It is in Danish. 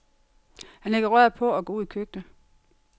Han lægger røret på og går ud i køkkenet.